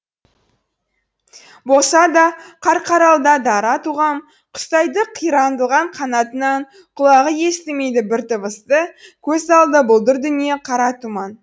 болса да қарқаралда дара тұлғам құстай ды қанатынан құлағы естімейді бір дыбысты көз алды бұлдыр дүние қара тұман